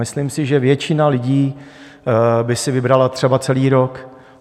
Myslím si, že většina lidí by si vybrala třeba celý rok.